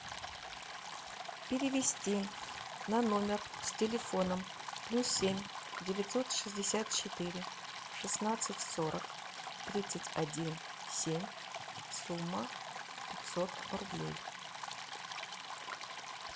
перевести на номер с телефоном плюс семь девятьсот шестьдесят четыре шестнадцать сорок тридцать один семь сумма пятьсот рублей